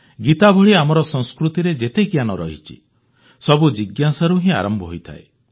ଗୀତା ଭଳି ଆମର ସଂସ୍କୃତିରେ ଯେତେ ଜ୍ଞାନ ରହିଛି ସବୁ ଜିଜ୍ଞାସାରୁ ହିଁ ଆରମ୍ଭ ହୋଇଥାଏ